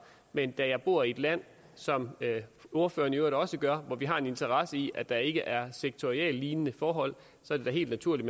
men da jeg bor i et land som ordføreren i øvrigt også gør hvor vi har en interesse i at der ikke er sektorlignende forhold er det helt naturligt